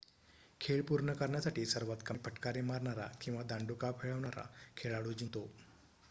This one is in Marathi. खेळ पूर्ण करण्यासाठी सर्वात कमी फटकारे मारणारा किंवा दांडुका फिरवणारा खेळाडू जिंकतो